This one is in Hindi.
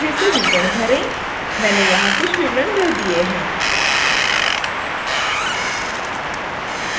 contact details जैसे विवरण भरें मैंने यहां कुछ विवरण भर दिए हैं